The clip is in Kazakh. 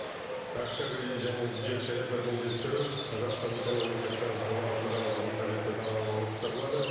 ақша кредит және бюджет саясатын үйлестіру қазақстан экономикасы орнықты дамытудың қажетті талабы болып табылады